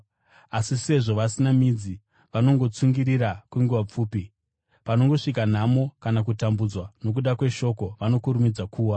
Asi sezvo vasina midzi, vanongotsungirira kwenguva pfupi. Panongosvika nhamo kana kutambudzwa nokuda kweshoko, vanokurumidza kuwa.